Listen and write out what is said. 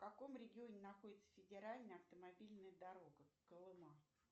в каком регионе находится федеральная автомобильная дорога колыма